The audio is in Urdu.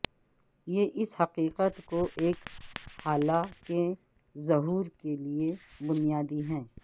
یہ اس حقیقت کو ایک ہالہ کے ظہور کے لئے بنیادی ہے